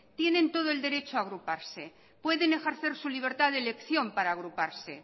tienen todo el derecho a agruparse pueden ejercer su libertad de elección para agruparse